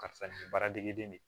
Karisa nin baara degeden de ye